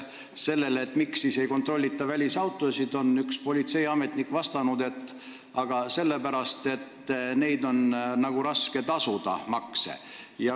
Sellele, miks ei kontrollita välisautosid, on üks politseiametnik vastanud nii: aga sellepärast, et neil on raske tasuda makse.